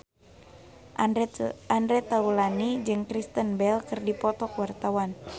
Andre Taulany jeung Kristen Bell keur dipoto ku wartawan